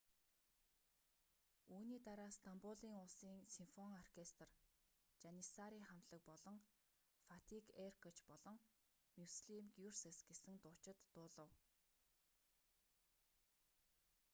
үүний дараа стамбулын улсын симфони оркестр жаниссари хамтлаг болон фатик эркоч болон мюслим гюрсес гэсэн дуучид дуулав